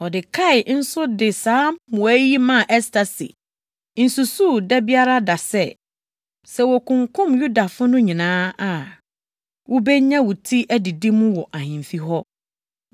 Mordekai nso de saa mmuae yi maa Ɛster se, “Nsusuw da biara da sɛ, sɛ wokunkum Yudafo no nyinaa a, wubenya wo ti adidi mu wɔ ahemfi hɔ.